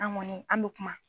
An kɔni an bɛ kuma